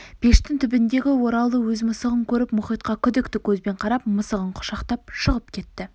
пештің түбіндегі ораулы өз мысығын көріп мұхитқа күдікті көзбен қарап мысығын құшақтап шығып кетті